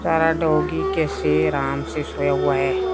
सारा डॉगी कैसे अराम से सोया हुआ है।